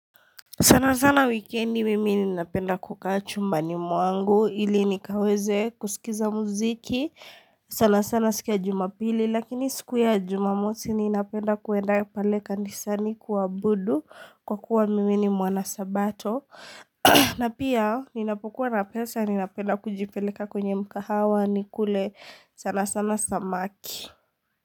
Sana sana wikendi mimi ni napenda kukaa chumba ni mwangu, ili nikaweze kusikiza muziki. Sana sana siku ya jumapili, lakini siku ya jumamosi ninapenda kwenda pale kanisani kuabudu kwa kuwa mimi ni mwanasabato. Na pia, ninapokua na pesa ninapenda kujipeleka kwenye mkahawa nikule sana sana samaki.